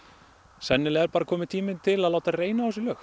sennilega er bara kominn tími til að láta reyna á þessi lög